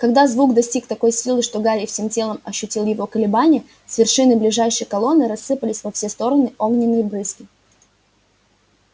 когда звук достиг такой силы что гарри всем телом ощутил его колебания с вершины ближайшей колонны рассыпались во все стороны огненные брызги